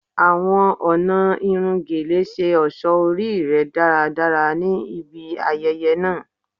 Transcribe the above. Awọn ọna irun Gele ṣe ọṣọ ori rẹ daradara ni ibi ayẹyẹ naa